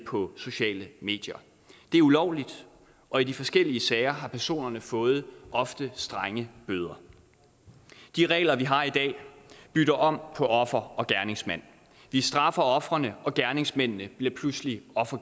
sociale medier det er ulovligt og i de forskellige sager har personerne fået ofte strenge bøder de regler vi har i dag bytter om på offer og gerningsmand vi straffer ofrene og gerningsmændene bliver pludselig